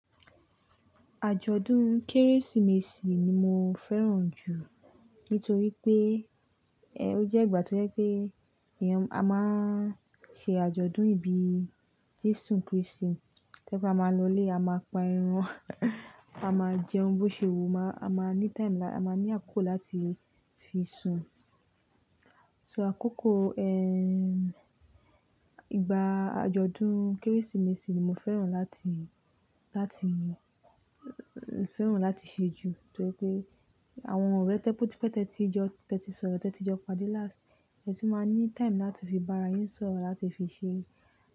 Àjọ̀dún Kérésìmesì ni mo fẹ́ràn jù nítorí pé, ẹ́, ó jẹ́ ìgbà tó jẹ́ pé èèyàn, a máa ṣe àjọ̀dún ìbí Jésù Kristì. Tẹ́ bá máa lọlé, a máa pa ẹran, a máa jẹun bó ṣe wu, máa-- a máa ní time lá-- a máa ní àkókò láti fi sùn. So àkókò, ẹ́, ìgbà àjọ̀dún Kérésìmesì ni mo fẹ́ràn láti, láti, fẹ́ràn láti ṣe jù nítorí pé àwọn ọ̀rẹ́ tẹ́ pó tí pẹ́ tẹ́tí jọ, tẹ́tí sọ̀rọ̀, tẹ́tí jọ pàdé last, ẹ tún máa ní time láti fi bára yín sọ̀rọ̀, láti fi ṣe.